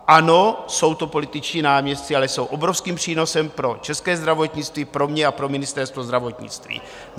Ano, jsou to političtí náměstci, ale jsou obrovským přínosem pro české zdravotnictví, pro mě a pro ministerstvo zdravotnictví.